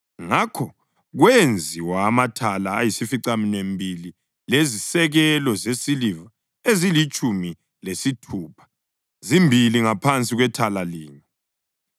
Ngakho kwenziwa amathala ayisificaminwembili lezisekelo zesiliva ezilitshumi lesithupha, zimbili ngaphansi kwethala linye.